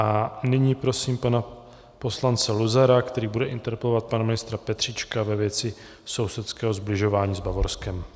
A nyní prosím pana poslance Luzara, který bude interpelovat pana ministra Petříčka ve věci sousedského sbližování s Bavorskem.